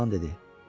Oğlan dedi.